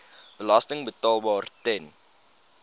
belasting betaalbaar ten